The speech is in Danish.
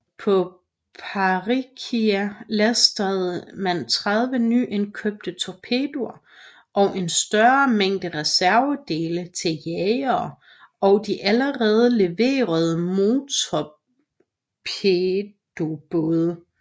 På Patricia lastede man 30 nyindkøbte torpedoer og en større mængde reservedele til jagerne og de allerede leverede motortorpedobåde